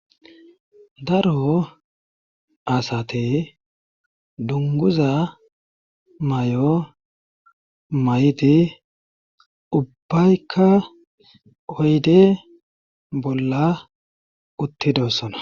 Daro asate dunguza may7o may7di ubbaykka oyde bolla uttidossana.